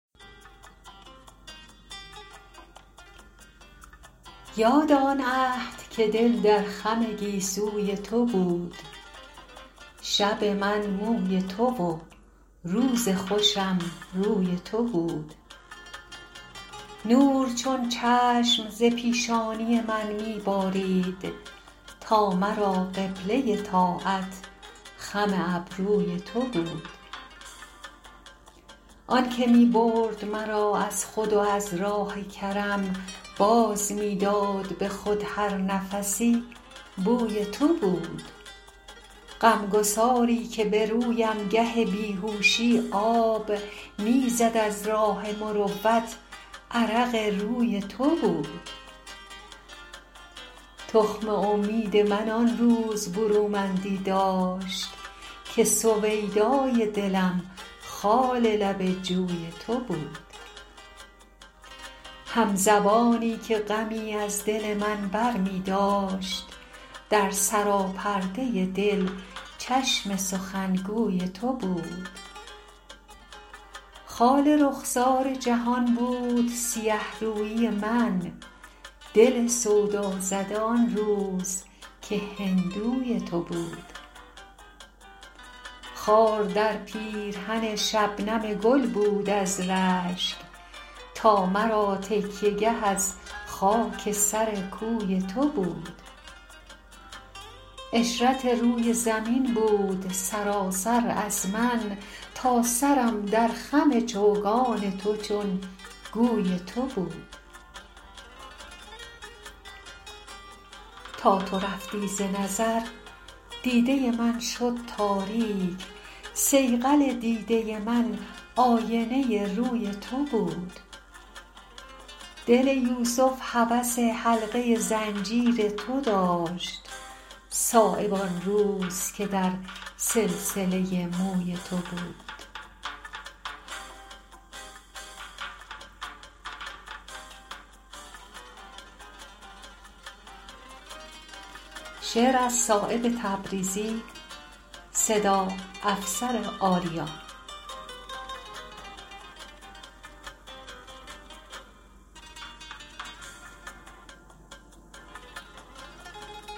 یاد آن عهد که دل در خم گیسوی تو بود شب من موی تو و روز خوشم روی تو بود نور چون چشم ز پیشانی من می بارید تا مرا قبله طاعت خم ابروی تو بود از گهر بود اگر رشته من آبی داشت پرده لاغریم چربی پهلوی تو بود آن که می برد مرا از خود و از راه کرم باز می داد به خود هر نفسی بوی تو بود غمگساری که به رویم گه بیهوشی آب می زد از راه مروت عرق روی تو بود تخم امید من آن روز برومندی داشت که سویدای دلم خال لب جوی تو بود همزبانی که غمی از دل من برمی داشت در سراپرده دل چشم سخنگوی تو بود خال رخسار جهان بود سیه رویی من دل سودازده آن روز که هندوی تو بود دل کافر به تهیدستی رضوان می سوخت روزگاری که بهشتم گل خودروی تو بود بود بر خون گل آن روز شرف خاک مرا که دل خونشده ام نافه آهوی تو بود پرده ای بود به چشم من گستاخ نگاه هیکل شرم و حیایی که به بازوی تو بود خار در پیرهن شبنم گل بود از رشک تا مرا تکیه گه از خاک سر کوی تو بود عشرت روی زمین بود سراسر از من تا سرم در خم چوگان تو چون گوی تو بود تا تو رفتی ز نظر دیده من شد تاریک صیقل دیده من آینه روی تو بود دل یوسف هوس حلقه زنجیر تو داشت صایب آن روز که در سلسله موی تو بود